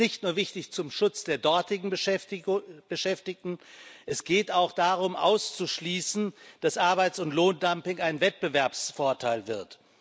Das ist nicht nur wichtig zum Schutz der dortigen Beschäftigten, es geht auch darum auszuschließen, dass Arbeits und Lohndumping ein Wettbewerbsvorteil wird.